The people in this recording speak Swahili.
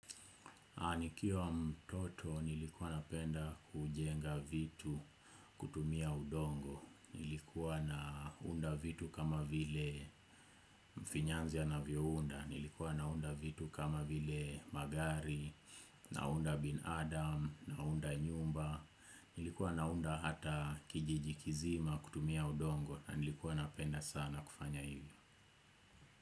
Nikiwa mtoto nilikuwa napenda kujenga vitu kutumia udongo, nilikuwa naunda vitu kama vile mfinyanzi anavyo unda, nilikuwa naunda vitu kama vile magari, naunda binadam, naunda nyumba, nilikuwa naunda hata kijiji kizima kutumia udongo, na nilikuwa napenda sana kufanya hivyo.